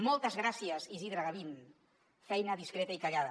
moltes gràcies isidre gavín feina discreta i callada